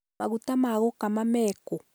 maguta ma gũkama mekũ?